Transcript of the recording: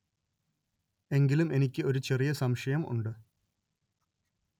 എങ്കിലും എനിക്ക് ഒരു ചെറിയ സംശയം ഉണ്ട്